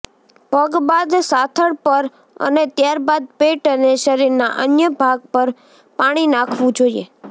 પગ બાદ સાથળ પર અને ત્યારબાદ પેટ અને શરીરના અન્ય ભાગ પર પાણી નાંખવું જોઇએ